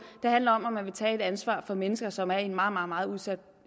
det handler om om man vil tage et ansvar for mennesker som er i en meget meget meget udsat